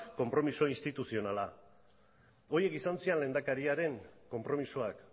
konpromiso instituzionala horiek izan ziren lehendakariaren konpromisoak